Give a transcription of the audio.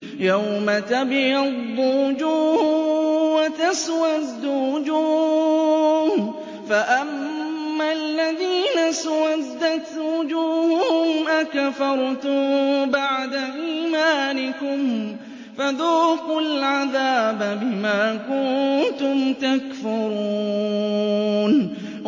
يَوْمَ تَبْيَضُّ وُجُوهٌ وَتَسْوَدُّ وُجُوهٌ ۚ فَأَمَّا الَّذِينَ اسْوَدَّتْ وُجُوهُهُمْ أَكَفَرْتُم بَعْدَ إِيمَانِكُمْ فَذُوقُوا الْعَذَابَ بِمَا كُنتُمْ تَكْفُرُونَ